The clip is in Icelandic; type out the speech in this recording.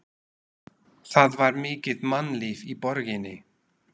Það var mikið mannlíf í borginni.